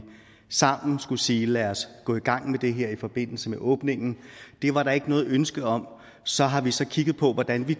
sammen skulle sige lad os gå i gang med det her i forbindelse med åbningen det var der ikke noget ønske om så har vi så kigget på hvordan vi